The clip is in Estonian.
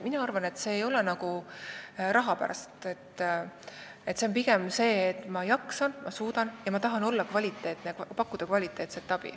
Mina arvan, et see ei ole raha pärast, see on pigem sellepärast, et ma jaksan, ma suudan ja ma tahan pakkuda kvaliteetset abi.